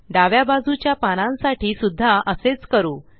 डाव्या बाजूच्या पानांसाठी सुद्धा असेच करू